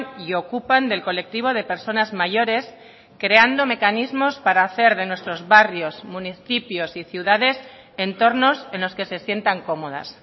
y ocupan del colectivo de personas mayores creando mecanismos para hacer de nuestros barrios municipios y ciudades entornos en los que se sientan cómodas